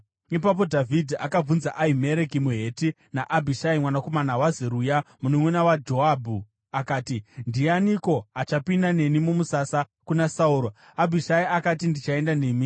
Ipapo Dhavhidhi akabvunza Ahimereki muHeti naAbhishai mwanakomana waZeruya, mununʼuna waJoabhu akati, “Ndianiko achapinda neni mumusasa kuna Sauro?” Abhishai akati, “Ndichaenda nemi.”